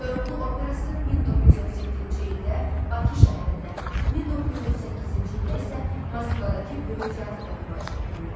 Koroğlu Operası 1937-ci ildə Bakı şəhərində, 1938-ci ildə isə Moskvadakı böyük teatrda nümayiş etdirilib.